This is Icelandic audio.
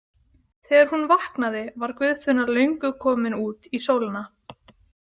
Þegar hún vaknaði var Guðfinna löngu komin út í sólina.